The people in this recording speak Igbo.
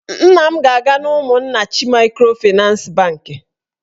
Nna m ga-aga n'Umunnachi maịkrofịnans bankị